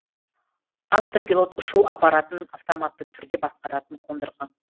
автопилот ұшу аппаратын автоматты түрде басқаратын қондырғы